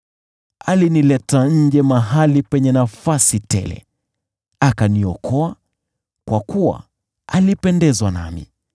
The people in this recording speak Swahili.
Alinileta nje mahali penye nafasi tele, akaniokoa kwa kuwa alipendezwa nami.